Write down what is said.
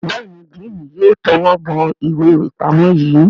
Béèni Diini yóò towó bó ìwé ipamọ yí.